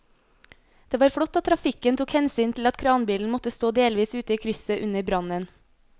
Det var flott at trafikken tok hensyn til at kranbilen måtte stå delvis ute i krysset under brannen.